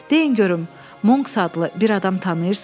Deyin görüm, Monks adlı bir adam tanıyırsızmı?